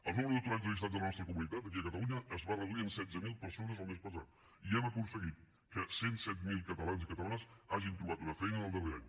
el número d’aturats allistat a la nostra comunitat aquí a catalunya es va reduir en setze mil persones el mes passat i hem aconseguit que cent i set mil catalans i catalanes hagin trobat una feina en el darrer any